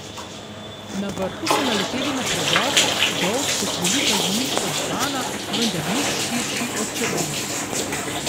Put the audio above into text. Na vrhu so naleteli na predor, dolg kot velika zimiška dvorana, vendar nič širši od črvin.